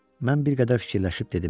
Mən bir qədər fikirləşib dedim: